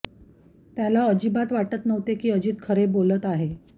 त्याला अजिबात वाटत नव्हते की अजीत खरे बोलत आहे